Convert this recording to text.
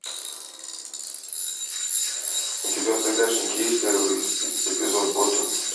у тебя в загашнике есть первый эпизод готэм